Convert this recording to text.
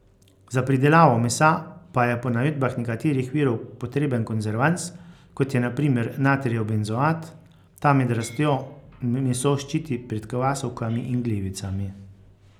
Za pridelavo mesa pa je po navedbah nekaterih virov potreben konzervans, kot je na primer natrijev benzoat, ta med rastjo meso ščiti pred kvasovkami in glivicami.